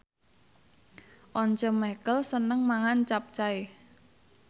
Once Mekel seneng mangan capcay